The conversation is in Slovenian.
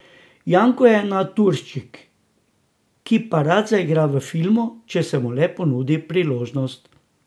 Janko je naturščik, ki pa rad zaigra v filmu, če se mu le ponudil priložnost.